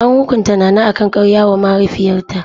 An hukunta Nana akan karya wa mahaifiyarta.